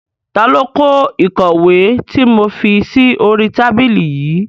Ta ló kó ìkọ̀wé tí mo fi sí oríi tábìlì yìí?